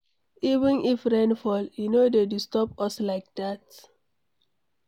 Even if rain fall, e no dey disturb us like dat.